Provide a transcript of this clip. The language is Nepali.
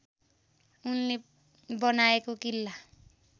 उनले बनाएको किल्ला